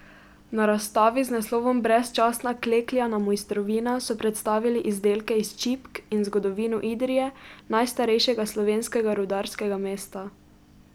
Na razstavi z naslovom Brezčasna klekljana mojstrovina so predstavili izdelke iz čipk in zgodovino Idrije, najstarejšega slovenskega rudarskega mesta.